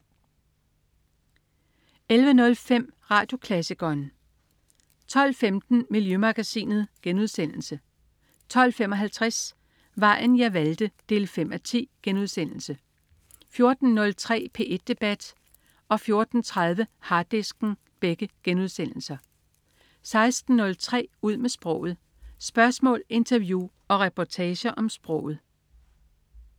11.05 Radioklassikeren 12.15 Miljømagasinet* 12.55 Vejen jeg valgte 5:10* 14.03 P1 debat* 14.30 Harddisken* 16.03 Ud med sproget. Spørgsmål, interview og reportager om sproget